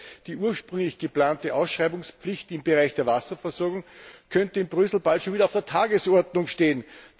Das heißt, die ursprünglich geplante Ausschreibungspflicht im Bereich der Wasserversorgung könnte in Brüssel bald schon wieder auf der Tagesordnung stehen.